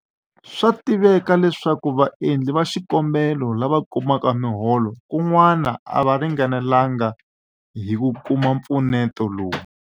Swa tiveka leswaku vaendli va xikombelo lava kumaka miholo kun'wana a va ringanelanga hi ku kuma mpfuneto lowu.